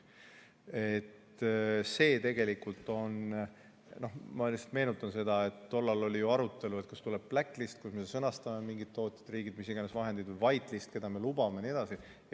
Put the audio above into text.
Ma lihtsalt meenutan seda, et tol ajal oli arutelu, kas tuleb black list, kus me sõnastame mingid tootjariigid või mis iganes vahendid, või white list, keda me lubame jne.